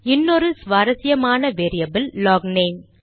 இன்னொரு சுவாரசியமான வேரியபில் லாக்நேம்